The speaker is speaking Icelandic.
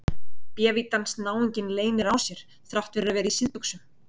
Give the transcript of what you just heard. Bévítans náunginn leynir á sér þrátt fyrir að vera í síðbuxum!